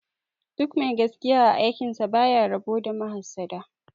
Duk mai gaskiya a aiyukan sa baya rabu da mahassada